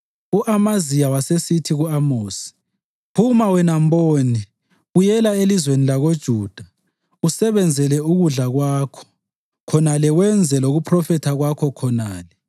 U-Amaziya wasesithi ku-Amosi, “Phuma, wena mboni! Buyela elizweni lakoJuda, usebenzele ukudla kwakho khonale wenze lokuphrofetha kwakho khonale.